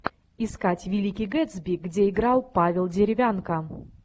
искать великий гэтсби где играл павел деревянко